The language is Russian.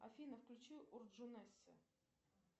афина включи урджунесси